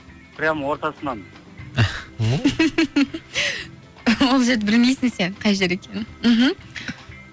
прямо ортасынан ол жерді білмейсің сен қай жер екенін мхм